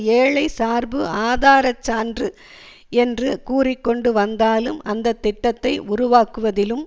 ஏழைசார்பு ஆதாரச்சான்று என்று கூறி கொண்டு வந்தாலும் அந்த திட்டத்தை உருவாக்குவதிலும்